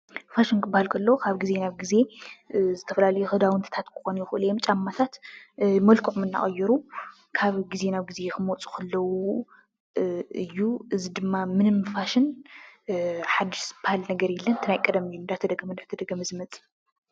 ፋሽን ክበሃል ከሎ ካብ ግዜ ናብ ግዜ እ ዝተፈላለየ ክዳዉንትታት ክኾኑ ይኽእሉ እዮም፡፡ ጫማታት ወይ ድማ ጫማታት መልክዖም እናቐየሩ ካብ ግዜ ናብ ግዜ ክመፁ ከለዉ እዩ፡፡ እዚ ድማ እ ፋሽን ሓዱሽ ዝበሃል ነገር የለን። ምንም እቲ ናይ ቀደም እዩ እንዳተደገመ እንዳተደገመ ዝመፅእ እዩ፡፡